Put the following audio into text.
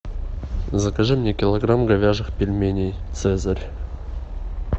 закажи мне килограмм говяжьих пельменей цезарь